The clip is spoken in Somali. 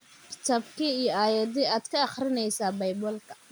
Kitaabkee iyo aayadde aad ka akhrinaysaa baybalka .